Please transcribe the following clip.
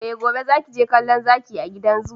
Eh! gobe zaki je kallo zaki a gidan zoo.